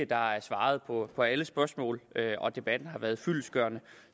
der er svaret på alle spørgsmål og at debatten har været fyldestgørende